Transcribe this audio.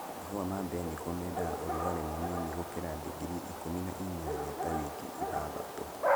Mahũa ma mbeniko mendaga ũrugarĩ mũnini gũkĩra digiri ikũmi na inyanya ta wiki ithathtatũ.